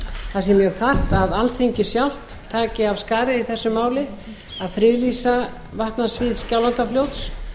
það sé mjög þarft að alþingi sjálft taki af skarið í þessu máli að friðlýsa vatnasvið skjálfandafljóts